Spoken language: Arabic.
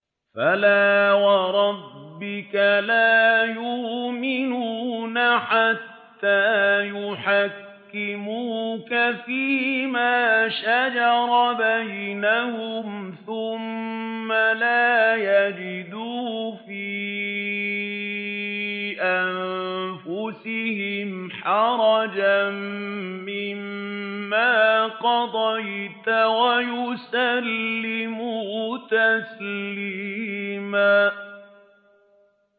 فَلَا وَرَبِّكَ لَا يُؤْمِنُونَ حَتَّىٰ يُحَكِّمُوكَ فِيمَا شَجَرَ بَيْنَهُمْ ثُمَّ لَا يَجِدُوا فِي أَنفُسِهِمْ حَرَجًا مِّمَّا قَضَيْتَ وَيُسَلِّمُوا تَسْلِيمًا